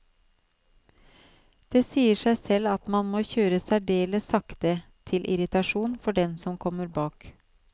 Det sier seg selv at man må kjøre særdeles sakte, til irritasjon for dem som kommer bak.